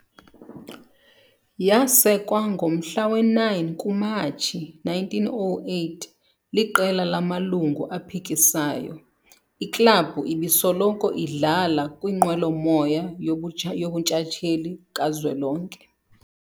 Yasekwa ngomhla we-9 kuMatshi 1908 liqela lamalungu aphikisayo, iklabhu ibisoloko idlala kwinqwelo moya yobutsha yobuntshatsheli kazwelonke